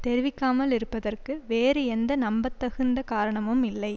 தெரிவிக்காமல் இருப்பதற்கு வேறு எந்த நம்பத்தகுந்த காரணமும் இல்லை